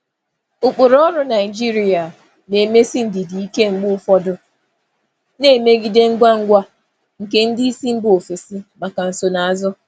Ụkpụrụ ọrụ Naijiria na-emesi ndidi ike mgbe ụfọdụ, na-emegide ngwa ngwa nke ndị isi mba ofesi maka nsonaazụ.